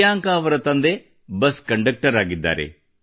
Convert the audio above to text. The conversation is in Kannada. ಪ್ರೀಯಾಂಕಾ ಅವರ ತಂದೆ ಬಸ್ ಕಂಡಕ್ಟರ್ ಆಗಿದ್ದಾರೆ